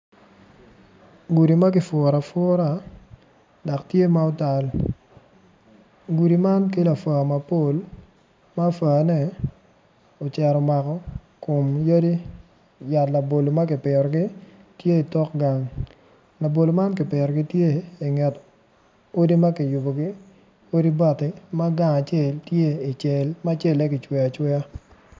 Gudi ma kipuro apura dok tye ma otal gudi man kelo apuwa mapol ma puane ocito omako kom yadi yat labolo tye kipitogi tye i tok gang labolo man kipitogi gitye i nget odi ma kiyubogi.